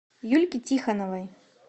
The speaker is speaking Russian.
юльке тихоновой